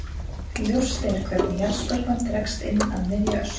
Ljóst er hvernig jarðskorpan dregst inn að miðju Öskju.